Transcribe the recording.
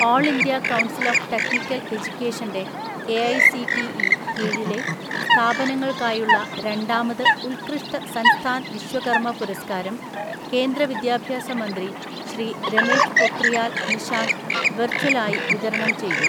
All India council of technical എജ്യുക്കേഷൻ്റെ AICTE കീഴിലെ സ്ഥാപനങ്ങൾക്കായുള്ള രണ്ടാമത് ഉത്കൃഷ്ട സൻസ്ഥാൻ വിശ്വകർമ്മ പുരസ്കാരം കേന്ദ്ര വിദ്യാഭ്യാസ മന്ത്രി ശ്രീ രമേശ് പൊക്രിയാൽ നിഷാങ്ക് വെർച്വലായി വിതരണം ചെയ്തു.